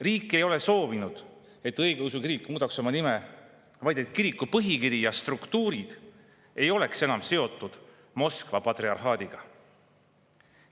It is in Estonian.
Riik ei ole soovinud, et õigeusu kirik muudaks oma nime, vaid et kiriku põhikiri ja struktuurid ei oleks enam seotud Moskva patriarhaadiga.